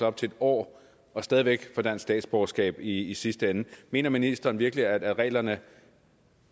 op til en år og stadig væk få dansk statsborgerskab i sidste ende mener ministeren så virkelig at reglerne